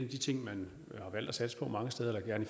de ting man har valgt at satse på mange steder eller gerne